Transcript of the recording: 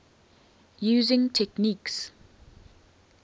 using techniques